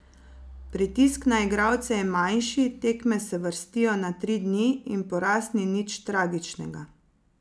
Pritisk na igralce je manjši, tekme se vrstijo na tri dni in poraz ni nič tragičnega.